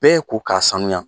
Bɛɛ ko k'a sanuya